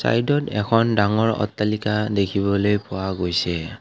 সাইদত এখন ডাঙৰ অট্টালিকা দেখিবলৈ পোৱা গৈছে।